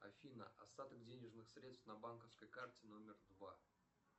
афина остаток денежных средств на банковской карте номер два